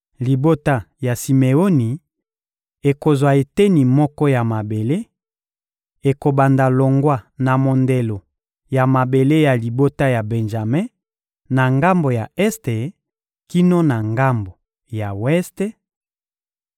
Libota ya Simeoni ekozwa eteni moko ya mabele: ekobanda longwa na mondelo ya mabele ya libota ya Benjame na ngambo ya este kino na ngambo ya weste;